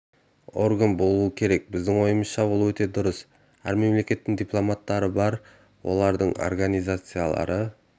орган болу керек деп біздің ойымызша ол өте дұрыс әр мемлекеттің дипломаттары бар олардың организациялары